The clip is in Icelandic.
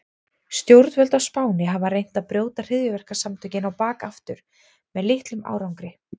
Stjórnvöld á Spáni hafa reynt að brjóta hryðjuverkasamtökin á bak aftur með litlum árangri.